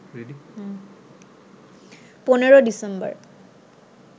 ১৫ December